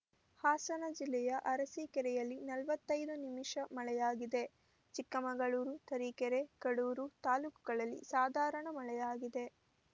ಹಾಸನ ಜಿಲ್ಲೆಯ ಅರಸೀಕೆರೆಯಲ್ಲಿ ನಲವತ್ತೈದು ನಿಮಿಷ ಮಳೆಯಾಗಿದೆ ಚಿಕ್ಕಮಗಳೂರು ತರೀಕೆರೆ ಕಡೂರು ತಾಲೂಕುಗಳಲ್ಲಿ ಸಾಧಾರಣ ಮಳೆಯಾಗಿದೆ